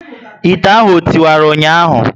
Ite ahụ o tiwara ụnyaahụ?